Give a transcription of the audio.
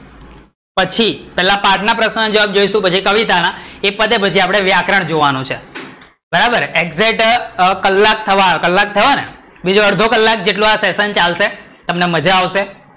એ પછી પેલા પાઠ ના પ્રશ્નો ના જવાબ જોઇશુ પછી કવિતા ના એ પતે પછી વ્યાકરણ જોવાંનું છે ekjet કલાક થવા આયો, કલાક થયો ને, બીજો અડધો કલાક જેવો આ session ચાલશે તમને માજા આવશે